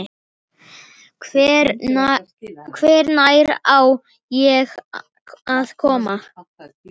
Hvenær á ég að koma?